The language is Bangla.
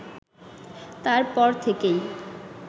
তার পর থেকেই